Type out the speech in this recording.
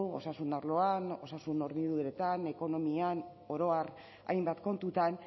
osasun arloan osasun horniduretan ekonomian oro har hainbat kontutan